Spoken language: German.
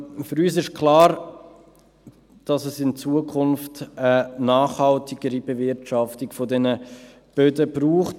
Für uns ist klar, dass es in Zukunft eine nachhaltigere Bewirtschaftung dieser Böden braucht.